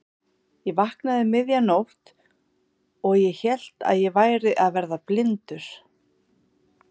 Ég vaknaði um miðja nótt og ég hélt að ég væri að verða blindur.